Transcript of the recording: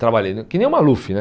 Trabalhei né que nem o Maluf né.